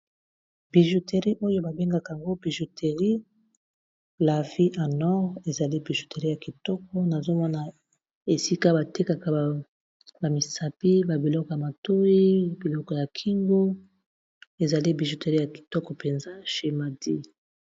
Bijouterie oyo babengaka yango bijouterie la vie en or ezali bijouterie ya kitoko nazomona esika batekaka bamisapi babiloko ya matoyi biloko ya kingo ezali bijouterie ya kitoko penza chez mahdi